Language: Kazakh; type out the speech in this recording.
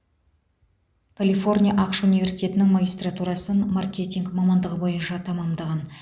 калифорния ақш университетінің магистратурасын маркетинг мамандығы бойынша тәмамдаған